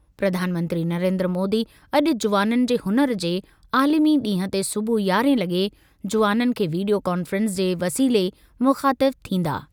प्रधानमंत्री नरेन्द्र मोदी अॼु जुवाननि जे हुनर जे आलिमी ॾींहुं ते सुबुह यारहं लगे॒ जुवाननि खे वीडियो कॉन्फ़्रेंस जे वसीले मुख़ातिब थींदा।